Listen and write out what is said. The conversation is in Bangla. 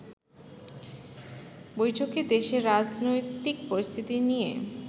বৈঠকে দেশের রাজনৈতিক পরিস্থিতি নিয়ে